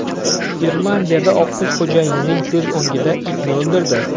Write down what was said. Irlandiyada oqqush xo‘jayinining ko‘z o‘ngida itni o‘ldirdi.